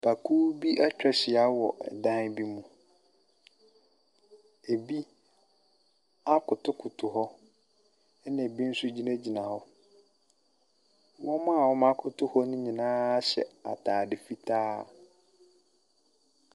Nnipakuw bi etwa ahyia wɔ ɛdan bi mu. Ebi akotow kotow hɔ. Ɛna ebi nso gyina gyina hɔ. Wɔn mo a ɔmo akotow hɔ nyinaa hyɛ ataade fitaa.